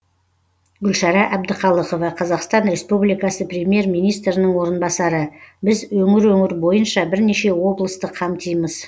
гүлшара әбдіқалықова қазақстан республикасы премьер министрінің орынбасары біз өңір өңір бойынша бірнеше облысты қамтимыз